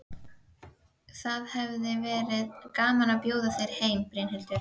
Það hefði verið gaman að bjóða þér heim, Brynhildur.